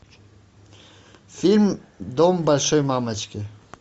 фильм дом большой мамочки